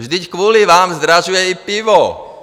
Vždyť kvůli vám zdražuje i pivo!